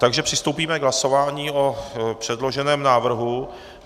Takže přistoupíme k hlasování o předloženém návrhu.